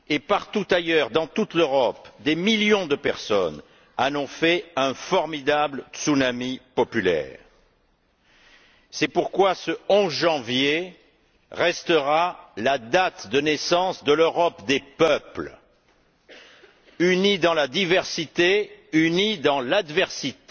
Partout ailleurs, dans toute l'Europe, des millions de personnes en ont fait un formidable tsunami populaire. C'est pourquoi ce 11 janvier restera la date de naissance de l'Europe des peuples unis dans la diversité, unis dans l'adversité,